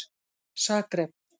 Zagreb